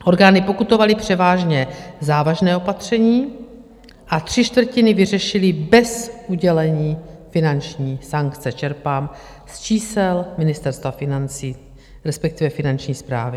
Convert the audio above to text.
Orgány pokutovaly převážně závažná opatření a tři čtvrtiny vyřešily bez udělení finanční sankce - čerpám z čísel Ministerstva financí, respektive Finanční správy.